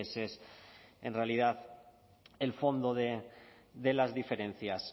ese es en realidad el fondo de las diferencias